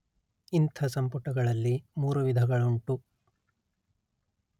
ಇಂಥ ಸಂಪುಟಗಳಲ್ಲಿ ಮೂರು ವಿಧಗಳುಂಟು